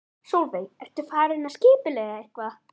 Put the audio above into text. Sólveig: Ertu farin að skipuleggja eitthvað?